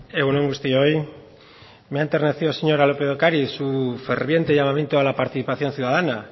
egun on guztioi me ha enternecido señora lópez de ocariz su ferviente llamamiento a la participación ciudadana